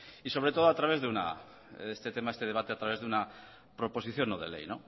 y sobre todo este debate a través de una proposición no de ley